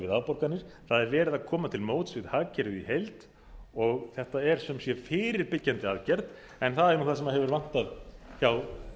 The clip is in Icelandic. afborganir það er verið að koma til móts við hagkerfið í heild og þetta er sem sé fyrirbyggjandi aðgerð en það er nú það sem hefur vantað hjá